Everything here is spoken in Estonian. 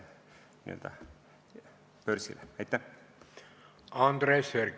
Andres Herkel, palun!